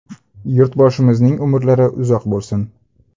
Yurtboshimizning umrlari uzoq bo‘lsin.